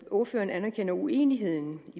ordføreren anerkender uenigheden